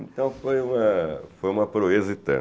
Então, foi uma foi uma proeza e tanto.